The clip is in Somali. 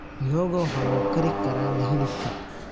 Mihogo waxaa lagu kari karaa la hilibka.